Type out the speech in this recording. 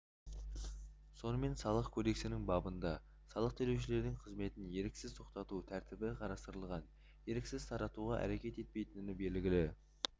сонымен салық кодексінің бабында салық төлеушілердің қызметін еріксіз тоқтату тәртібі қарастырылған еріксіз таратуға әрекет етпейтін белгілі